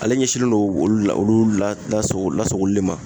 Ale ɲɛsinnen don olu la olu lasago lasagoli le ma